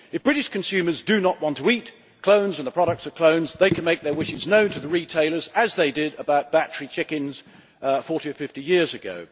If British consumers do not want to eat clones and the products of clones, they can make their wishes known to the retailers, as they did about battery chickens 40 or 50 years ago.